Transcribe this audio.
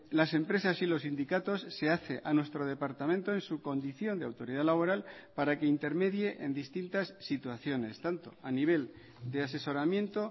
las empresas y los sindicatos se hace a nuestro departamento en su condición de autoridad laboral para que intermedie en distintas situaciones tanto a nivel de asesoramiento